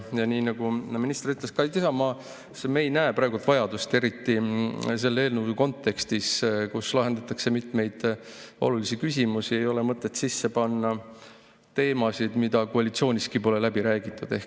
Nii nagu minister ütles, me ei näe praegu vajadust – eriti selles kontekstis, kus eelnõus lahendatakse mitmeid olulisi küsimusi – ja meie arvates ei ole mõtet siia sisse panna teemasid, mida koalitsiooniski pole läbi räägitud.